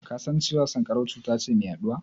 Ka san cewa sanƙarau cuta ce mai yaɗuwa?